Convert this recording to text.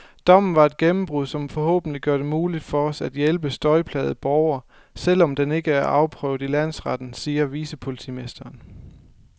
Dommen er et gennembrud, som forhåbentlig gør det muligt for os at hjælpe støjplagede borgere, selv om den ikke er afprøvet i landsretten, siger vicepolitimesteren.